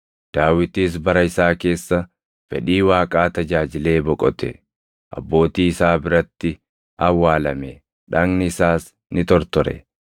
“Daawitis bara isaa keessa fedhii Waaqaa tajaajilee boqote; abbootii isaa biratti awwaalame; dhagni isaas ni tortore.